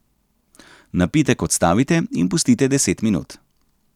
Napitek odstavite in pustite deset minut.